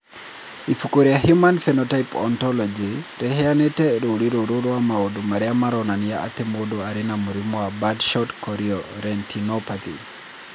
Ibuku rĩa Human Phenotype Ontology rĩheanĩte rũũri rũrũ rwa maũndũ marĩa maronania atĩ mũndũ arĩ na mũrimũ wa Birdshot chorioretinopathy.